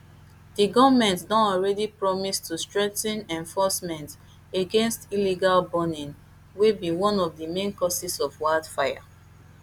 di goment don also promise to strengthen enforcement against illegal burning wey be one of di main causes of wildfire